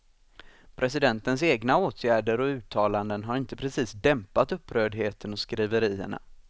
Presidentens egna åtgärder och uttalanden har inte precis dämpat upprördheten och skriverierna.